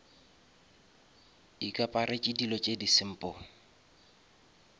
ikaparetše dilo tše di simple